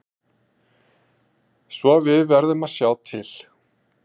Svo við verðum að sjá til.